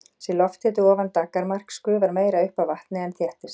Sé lofthiti ofan daggarmarks gufar meira upp af vatni en þéttist.